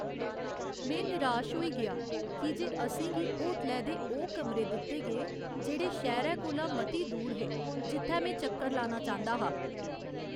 में निराश होई गेआ की जे असें गी होटलै दे ओह् कमरे दित्ते गे जेह्ड़े शैह्‌रे कोला मती दूर हे जित्थै में चक्कर लाना चांह्दा हा।